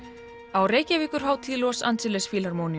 á Reykjavíkurhátíð Los Angeles